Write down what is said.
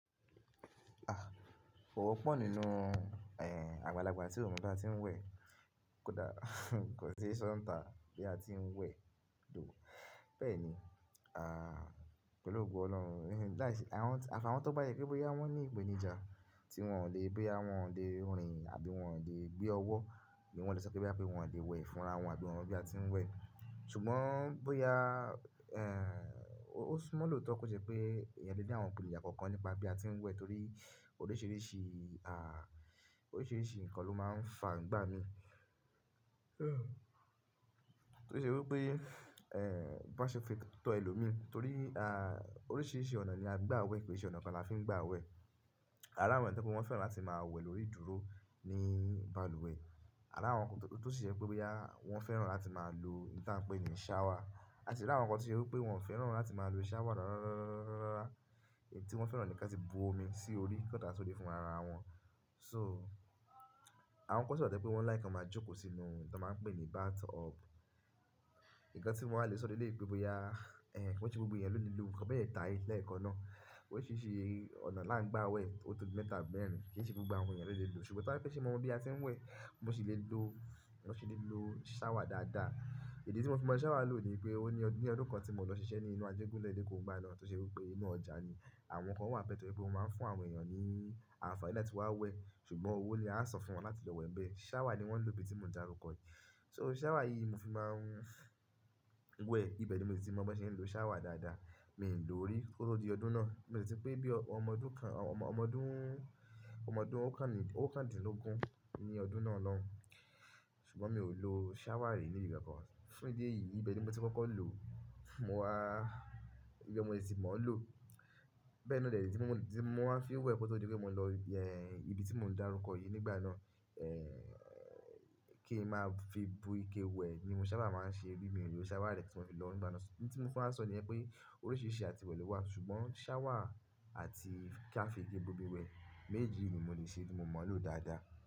A! Kò wò pọ̀ nínú, eh, àgbàlagbà tí ò mọ bí a ti ń wẹ̀, kódà kò sí ṣọ́ǹta bí a ti ń wẹ̀ dùn. Bẹ́ẹ̀ ni, ah, pẹ̀lú ògo Olórun láìsí-- àwọn-- àfi àwon tó bá jé pé bóyá wọ́n ní ìpèníjà tí wọn ò lè, bóyá wọn ò lè rìn àbí wọn ò lè gbé ọwọ́ ni wọ́n lè sọ pé wọ́n ò lè wẹ̀ fúnra wọn àbí wọn bí a ti ń wẹ̀. Ṣùgbọ́n bóyá, eh, ó súnmọ́ lòótọ́ kó ṣe pé èèyàn lè ní àwọn ìpèníjà kánkan nípa bí a ti ń wẹ̀ torí oríṣiríṣi, ah, oríṣiríṣi nǹkan ló máa ń fà ǹígbà mi. To ṣẹ́ wípé, eh, bó ṣe fi tọ ẹlòmííràn torí, ah, oríṣiríṣi ọ̀nà ni a gbà wẹ̀ kì í ṣe ọ̀nà kan là fi ń gbà wẹ̀. Ara àwọn ènìyàn tó pé wọ́n fẹ́ràn láti máa wẹ̀ lórí dúró ní bàlùwẹ̀. Ara àwọn kan tọ́ ṣe wípé wọ́n fẹ́ràn láti máa lo n ta ń pè ní ṣáwà. A sì láwọn kan tó ṣe wípé wọ́n ò fẹ́ràn láti máa lo ṣáwà rárárárá èyí tí wọ́n fẹ́ràn ni kí a ti bu omi sí orí kí wọ́n dáa sórí fún ara wọn. So, àwọn kan sì wà tó jé pé wọ́n láikí kí wón máa jókòó sínú ohun tí wọ́n máa ń pè ní bathtub. Nkan tí mo wa lè sọ leléyí pé bóyá, eh, kí wọ́n ṣe gbogbo ẹ̀yan ló lè lo, nkàn méteetà yi lẹ́ẹ̀kan náà. Kí ó sì ṣe ọ̀nà láńgbà wẹ̀ ó tó di mẹ́ta bẹ̀rẹ̀, kí n ṣe gbogbo àwọn èèyàn tó lè lo. Ṣùgbọ́n táí pé ṣe mọ̀ bí a ti ń wẹ̀, mo sì lè lo, mo sì lè lo ṣáwà dáadáa. Ìdí tí mo fi mọ̀ ṣáwà lò ni pé ó ní ọdún kan tí mo lọ ṣiṣẹ́ ní inú ajégúnlẹ̀ ilé kọ̀báná tó ṣe wípé inú ọjà ni. Àwọn kan wà ní be pé mo máa ń fún àwọn èèyàn ní àǹfààní láti wá wẹ̀, ṣùgbọ́n owó ni a sọ fún wọn láti lọ wẹ̀ bẹ́ẹ̀. Ṣáwà ni wọ́n lò ibi tí mò ń dárúkọ yìí. So, ṣáwà yìí mo fi máa ń wẹ̀, ibẹ̀ ni mo ti mọ̀ bó ṣe ń lo ṣáwà dáadáa. Mi ò lò ó rí kó tó di ọdún náà, mi ò sì pé bí ọmọdún kan, ọmọdún, ọmọdún oókan-dinlógún ní ọdún náà lọ́hùn, ṣùgbọ́n mi ò lo ṣáwà rí ní ibi kankan. Fún ìdí èyí, ibẹ̀ ni mo ti kọ́kọ́ lò, mo wá, ibẹ̀ ni mo sì ti mọ̀ ọ́n lò. Bẹ́ẹ̀ na de ni tí mo, tí mo máa ń fi wẹ̀ kó tó di pé mò ń lọ, eh, ibi tí mò ń dárúkọ yìí nígbà náà, eh, kí n máa fi bu ike wẹ̀ ni mo sábà máa ń ṣe bí mi ò lò ṣáwà rẹ̀ tí mo fi lọ nígbàná. Ohun tí mo fẹ́ máa sọ ni pé oríṣiríṣi àti wẹ̀ ló wà, ṣùgbọ́n ṣáwà àti kí a fi ike bu omi wẹ̀ méjì ni mo lè ṣe tí mo mọ̀ ọ́n lò dáadáa.